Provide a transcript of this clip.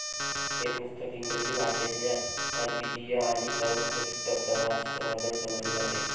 हे पुस्तक इंग्रजी भाषेतले अद्वितीय आणि सर्वोकृष्ट प्रवास वर्णन समजले जाते.